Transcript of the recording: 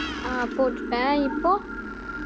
ஆஹ் போட்டுட்டேன் இப்போ